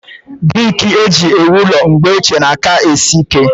Brik eju ewu ụlọ mgbe ọchie na-aka esi ike